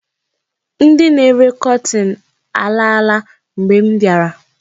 Ndị na-ere kọtin alaala mgbe m biara.